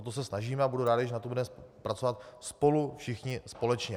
O to se snažíme a budu rád, když na tom budeme pracovat spolu všichni společně.